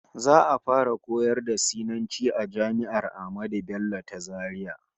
Za'a fara koyar da Sinanci a jami'ar Ahmadu Bello ta Zaria